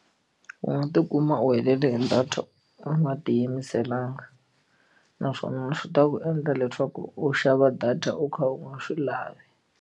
U nga tikuma u helele hi data u nga tiyimiselanga naswona swi ta ku endla leswaku u xava data u kha u nga swi lavi.